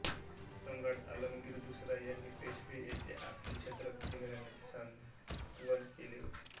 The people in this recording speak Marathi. सम्राट आलमगीर दुसरा यांनी पेशवे येथे आपल्या छत्रपती घराण्याचे सांत्वन केले होते